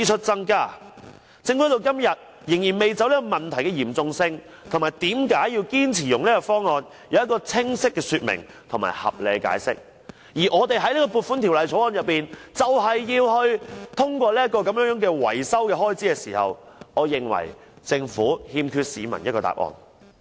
政府至今仍未就這個問題的嚴重性及為何堅持使用此方案提出清晰的說明和合理的解釋，便要在《2018年撥款條例草案》通過這項維修開支，我認為政府欠市民一個答案。